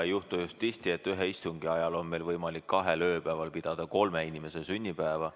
Ei juhtu just tihti, et ühe istungi ajal on meil võimalik kahel ööpäeval pidada kolme inimese sünnipäeva.